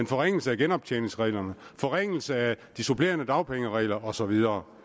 forringelse af genoptjeningsreglerne forringelse af de supplerende dagpengeregler og så videre